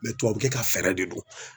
Mɛ tubabukɛ ka fɛɛrɛ de don